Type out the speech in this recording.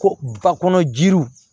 Ko fa kɔnɔ jiriw